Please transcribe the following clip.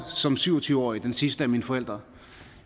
som syv og tyve årig den sidste af mine forældre